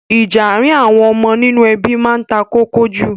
Ìjà àárín àwon ọmọ nínú ebí ma n takókó jù